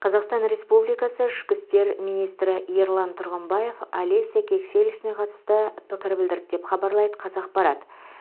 қазақстан республикасы ішкі істер министрі ерлан тұрғымбаев олеся кексель ісіне қатысты пікір білдірді деп хабарлайды қазақпарат